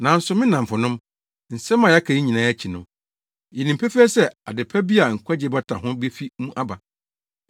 Nanso me nnamfonom, nsɛm a yɛaka yi nyinaa akyi no, yenim pefee sɛ ade pa bi a nkwagye bata ho befi mo mu aba.